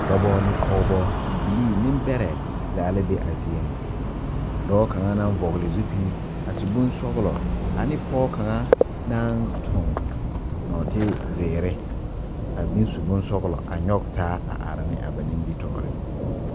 Dɔba ne pɔgeba bibilii nembɛrɛ zaa la be a zie ŋa ka dɔɔ kaŋa naŋ vɔgle zupili a su bonsɔglɔ ane pɔge kaŋa naŋ toŋ nɔɔtezeere a meŋ su bonsɔglɔ a nyɔge taa a are ne a ba nimitɔɔreŋ.